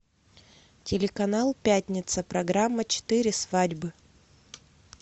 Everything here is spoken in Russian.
телеканал пятница программа четыре свадьбы